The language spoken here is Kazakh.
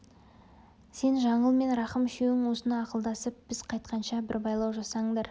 сен жаңыл мен рахым үшеуің осыны ақылдасып біз қайтқанша бір байлау жасаңдар